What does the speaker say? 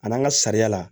A n'an ka sariya la